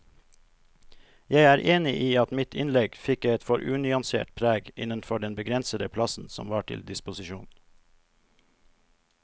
Jeg er enig i at mitt innlegg fikk et for unyansert preg innenfor den begrensede plassen som var til disposisjon.